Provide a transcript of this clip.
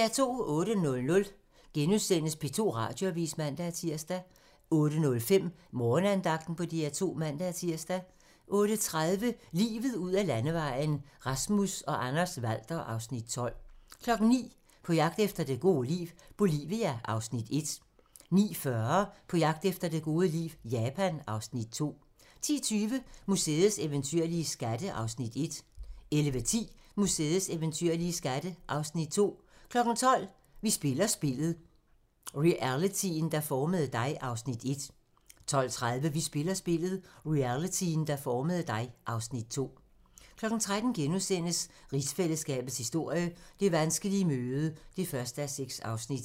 08:00: P2 Radioavis *(man-tir) 08:05: Morgenandagten på DR2 (man-tir) 08:30: Livet ud ad landevejen: Rasmus og Anders Walther (Afs. 12) 09:00: På jagt efter det gode liv - Bolivia (Afs. 1) 09:40: På jagt efter det gode liv - Japan (Afs. 2) 10:20: Museets eventyrlige skatte (Afs. 1) 11:10: Museets eventyrlige skatte (Afs. 2) 12:00: Vi spiller spillet - realityen, der formede dig (Afs. 1) 12:30: Vi spiller spillet - realityen, der formede dig (Afs. 2) 13:00: Rigsfællesskabets historie: Det vanskelige møde (1:6)*